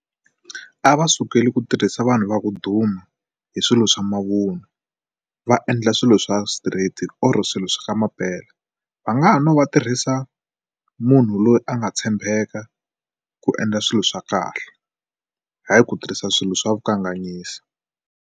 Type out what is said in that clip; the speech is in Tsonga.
A va sukeli ku tirhisa vanhu va ku duma hi swilo swa mavunwa va endla swilo swa straight or swilo swa ka mampela va nga ha no va tirhisa munhu loyi a nga tshembeka ku endla swilo swa kahle hayi ku tirhisa swilo swa vukanganyisi.